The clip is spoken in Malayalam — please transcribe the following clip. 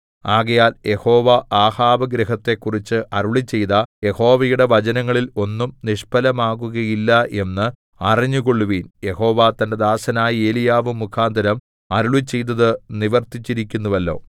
ആകയാൽ യഹോവ ആഹാബ് ഗൃഹത്തെക്കുറിച്ച് അരുളിച്ചെയ്ത യഹോവയുടെ വചനങ്ങളിൽ ഒന്നും നിഷ്ഫലമാകുകയില്ല എന്ന് അറിഞ്ഞുകൊള്ളുവിൻ യഹോവ തന്റെ ദാസനായ ഏലീയാവ് മുഖാന്തരം അരുളിച്ചെയ്തത് നിവർത്തിച്ചിരിക്കുന്നുവല്ലോ